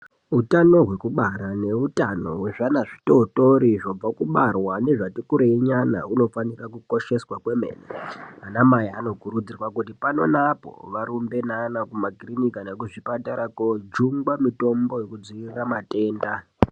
Utano hwekubara nehutano hwezviana zvitotori zvobva kubarwa nezvati kurei nyana unofanira kukosheswa kwemene ana mai vanokurudzirwa kuti pano neapo varumbe neana kumakiriniki kana kuzvipatara kojungwa mitombo yekudzivirira matenda.